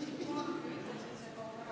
Riigikogu menetlusest välja.